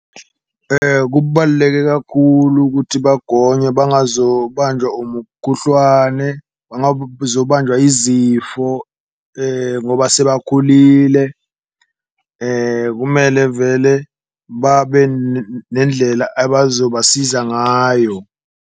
Kubaluleke kakhulu kuthi bagonywe bazobanjwa umukhuhlwane, zobanjwa izifo ngoba sebakhulile kumele vele babe nendlela abazobasiza ngayo.